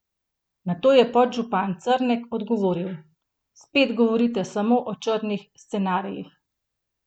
Nato je podžupan Crnek odgovoril: "Spet govorite samo o črnih scenarijih.